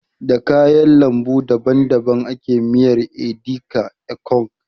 Da kayar lambu daban daban ake miyar edi ka, ekong